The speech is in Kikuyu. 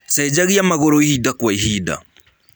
Cegagĩa magũrũ ĩhĩda gwa ĩhĩnda.